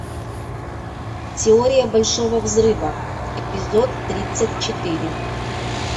теория большого взрыва эпизод тридцать четыре